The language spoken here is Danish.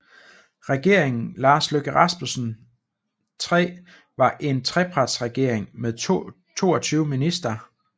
Regeringen Lars Løkke Rasmussen III var en trepartiregering med 22 ministre